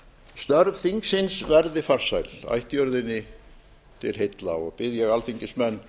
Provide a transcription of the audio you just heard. störf þingsins verði farsæl ættjörðinni til heilla bið ég alþingismenn